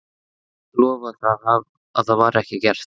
Guði sé lof að það var ekki gert.